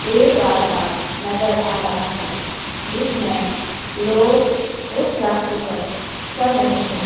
एक रास्ता नजर आ रहा है जिसमें लोग उस रास्ते पर चल रहे हैं।